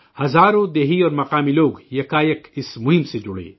ہزاروں گاؤں والے اور مقامی لوگ اپنی مرضی سے اس مہم سے جڑے